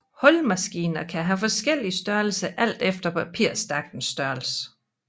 Hullemaskiner kan have forskellig størrelser alt efter papirstakkens størrelse